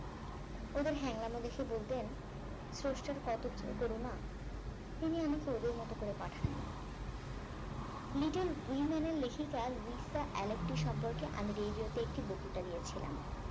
ওদের হ্যাংলাম দেখে বলতেন স্রষ্টার কত করুনা তিনি আমাকে ওদের মত করে পাঠান নি Little women এর লেখিকা লুইসা অ্যালকট এর সম্পর্কে আমি radio তে একটি বক্তিতা দিয়েছিলাম